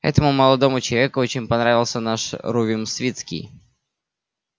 этому молодому человеку очень понравился наш рувим свицкий